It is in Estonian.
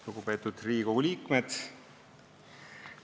Lugupeetud Riigikogu liikmed!